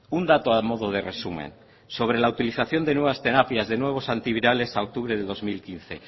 un dato a modo de resumen sobre la utilización de nuevas terapias de nuevos antivirales a octubre de dos mil quince